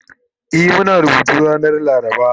E Muna rubutu ranar laraba